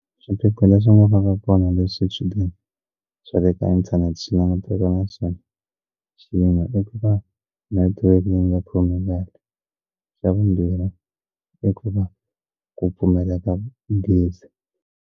Swiphiqo leswi nga va ka kona leswi swichudeni swa le ka inthanete swi langutana naswona swin'wana i ku va network yi nga khome kahle xa vumbirhi i ku va ku pfumeleka gezi.